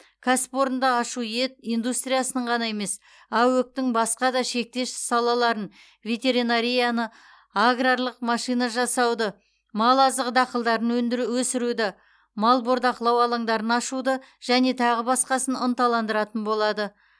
кәсіпорынды ашу ет индустриясының ғана емес аөк тің басқа да шектес салаларын ветеринарияны аграрлық машина жасауды мал азығы дақылдарын өндіру өсіруді мал бордақылау алаңдарын ашуды және тағы басқасын ынталандыратын болады